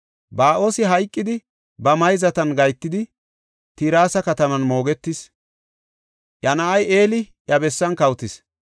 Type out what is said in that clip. Ba7oosi hayqidi ba mayzatan gahetidi, Tirsa kataman moogetis. Iya na7ay Eli iya bessan kawotis.